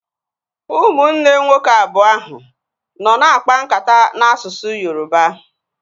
Ụmụnne nwoke abụọ ahụ nọ na akpa nkata n'asụsụ Yoroba